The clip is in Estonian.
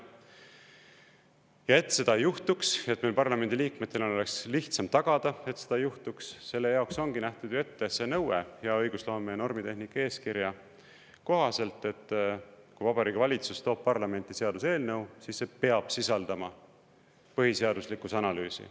Ja et seda ei juhtuks, et meil parlamendiliikmetena oleks lihtsam tagada, et seda ei juhtuks, selle jaoks ongi nähtud ette nõue hea õigusloome ja normitehnika eeskirja kohaselt, et kui Vabariigi Valitsus toob parlamenti seaduseelnõu, siis see peab sisaldama põhiseaduslikkuse analüüsi.